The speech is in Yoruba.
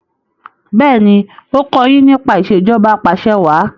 béèni o kò yín nípa Ìṣèjọba Apàṣẹwàá